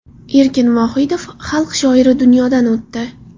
Erkin Vohidov, Xalq shoiri, dunyodan o‘tdi.